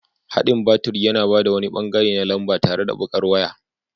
Haɗin baturi yana ba da wani ɓangare na lamba tare da baƙar waya.